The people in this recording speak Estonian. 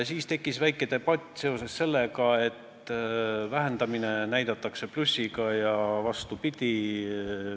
Siis tekkis väike debatt seoses sellega, et vähendamist näidatakse plussiga ja vastupidi.